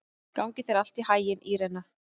Gangi þér allt í haginn, Írena.